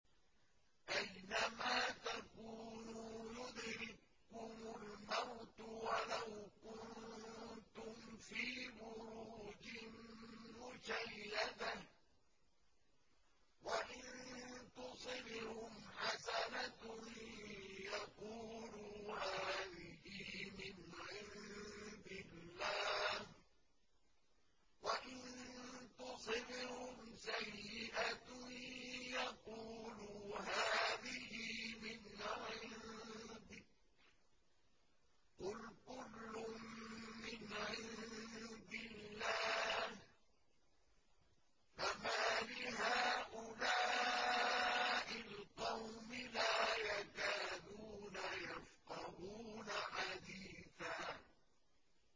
أَيْنَمَا تَكُونُوا يُدْرِككُّمُ الْمَوْتُ وَلَوْ كُنتُمْ فِي بُرُوجٍ مُّشَيَّدَةٍ ۗ وَإِن تُصِبْهُمْ حَسَنَةٌ يَقُولُوا هَٰذِهِ مِنْ عِندِ اللَّهِ ۖ وَإِن تُصِبْهُمْ سَيِّئَةٌ يَقُولُوا هَٰذِهِ مِنْ عِندِكَ ۚ قُلْ كُلٌّ مِّنْ عِندِ اللَّهِ ۖ فَمَالِ هَٰؤُلَاءِ الْقَوْمِ لَا يَكَادُونَ يَفْقَهُونَ حَدِيثًا